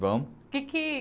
Vamos. o que que